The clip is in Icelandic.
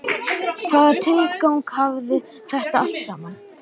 Hvaða tilgang hafði þetta allt saman?